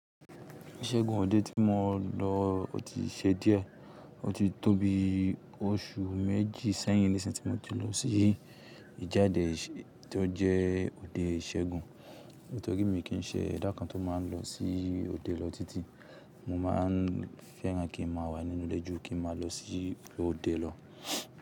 Ìṣègùn òde tí mo lọ ó ti ṣe díẹ̀. Ó ti tóbi oṣù méjì sẹ́yìn níṣìí tí mo ti lọ sí ìjáde tó jẹ́ òde ìṣègùn. Nítorí mi kì í ṣe ẹ̀dá kan tó máa ń lọ sí òde lọ títí, mo máa ń fẹ́ràn kí n máa wà nínú ilẹ́ jú kí n máa lọ sí òde lọ.